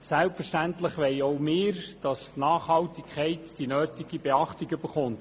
Selbstverständlich wollen auch wir, dass die Nachhaltigkeit die nötige Beachtung erfährt.